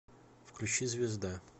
включи звезда